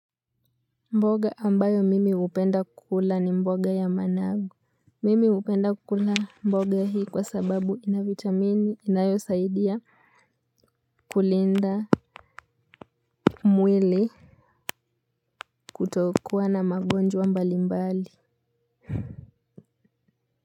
Mboga ambayo mimi upenda kukula ni mboga ya managu. Mimi hupenda kukula mboga hii kwa sababu inavitamini inayo saidia kulinda mwili kutokuwa na magonjwa mbali mbali.